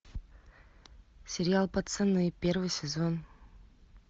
сериал пацаны первый сезон